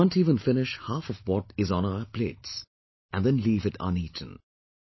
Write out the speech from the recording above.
We can't even finish half of what is on our plates and then leave it uneaten